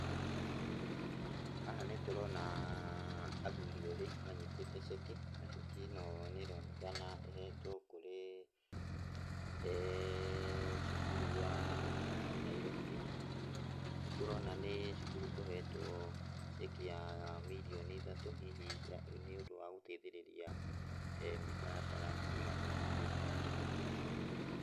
Haha nĩtũronaa athuri erĩ manyitĩte ceki, na ceki ĩno nĩronekana ĩhetwo kũrĩ cukuru wa Nairobi. Nĩtũrona nĩ cukurũ ũhetwo ceki ya mirioni ithatũ hihi nĩũndũ wa gũteithĩrĩria mĩtaratara ĩigana ũna thĩiniĩ wa cukuru ũcio.